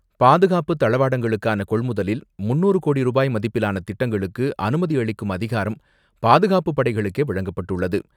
பாதுகாப்பு தளவாடங்களுக்கான கொள்முதலில் முந்நூறு கோடி ரூபாய் மதிப்பிலான திட்டங்களுக்கு அனுமதி அளிக்கும் அதிகாரம் பாதுகாப்பு படைகளுக்கே வழங்கப்பட்டுள்ளது.